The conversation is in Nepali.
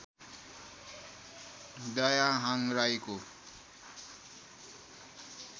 दयाहाङ राईको